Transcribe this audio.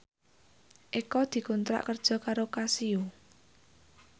Eko dikontrak kerja karo Casio